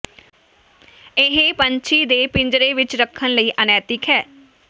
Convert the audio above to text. ਇਹ ਪੰਛੀ ਦੇ ਪਿੰਜਰੇ ਵਿੱਚ ਰੱਖਣ ਲਈ ਅਨੈਤਿਕ ਹੈ